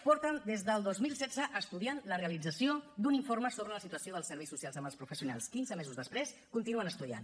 porten des del dos mil setze estudiant la realització d’un informe sobre la situació dels serveis socials amb els professionals quinze mesos després continuen estudiant